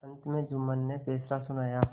अंत में जुम्मन ने फैसला सुनाया